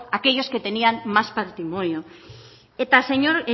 a aquellos que tenían más patrimonio señor